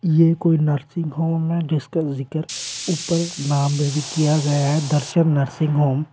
ये कोई nursing home है जिसका जिक्र ऊपर नाम में भी किया गया है दर्शन नर्सिंग होम ।